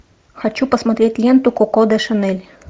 хочу посмотреть ленту коко до шанель